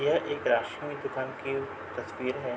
यह एक राशन की दुकान की तस्वीर है।